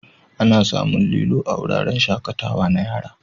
Ana samun lilo a wuraren shakatawa na yara.